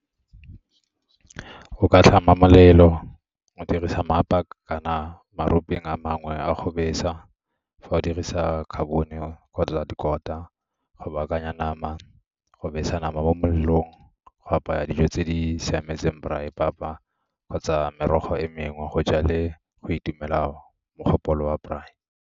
Go ka tlhama molelo, o dirisa kana a mangwe a go besa. Fa o dirisa carbon-e kgotsa dikota go baakanya nama, go besa nama mo molelong, go apaya dijo tse di siametseng braai, papa kgotsa merogo e mengwe, go ja le go itumela mogopolo wa braai.